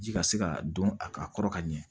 Ji ka se ka don a ka kɔrɔ ka ɲɛ